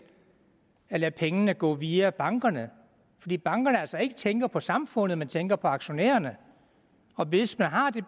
at lade pengene gå via bankerne fordi bankerne altså ikke tænker på samfundet men tænker på aktionærerne hvis man har